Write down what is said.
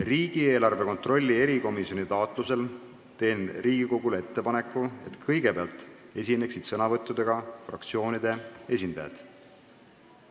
Riigieelarve kontrolli erikomisjoni taotlusel teen Riigikogule ettepaneku, et kõigepealt võtaksid sõna fraktsioonide esindajad.